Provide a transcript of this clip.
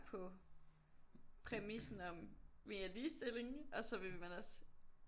På præmissen om vi er ligestilling og så vil man også